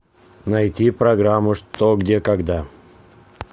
найти программу что где когда